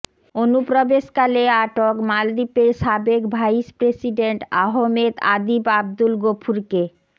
অনুপ্রবেশকালে আটক মালদ্বীপের সাবেক ভাইস প্রেসিডেন্ট আহমেদ আদিব আবদুল গফুরকে